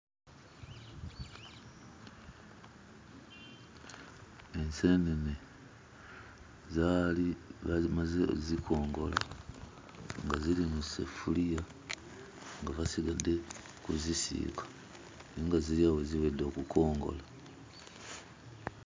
Enseenene zaali bazimaze ozzikongola nga ziri mu sseffuliya nga basigadde kuzisiiga naye nga ziri awo ziwedde okukongola.